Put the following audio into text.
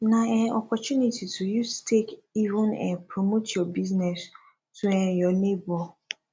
na um opportunity to use take even um promote yur business to um yur neibor